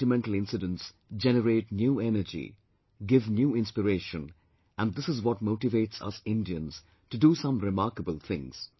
Such sentimental incidents generate new energy, give new inspiration and this is what motivates us Indians to do some remarkable things